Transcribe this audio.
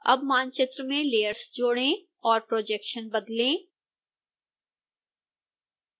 अब मानचित्र में लेयर्स जोड़ें और projection बदलें